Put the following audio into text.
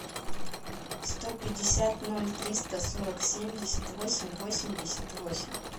сто пятьдесят ноль триста сорок семьдесят восемь восемьдесят восемь